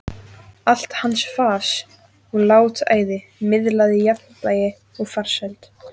Allt hans fas og látæði miðlaði jafnvægi og farsæld.